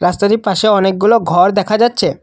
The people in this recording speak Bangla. রাস্তাটির পাশে অনেকগুলো ঘর দেখা যাচ্ছে।